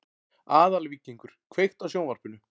Aðalvíkingur, kveiktu á sjónvarpinu.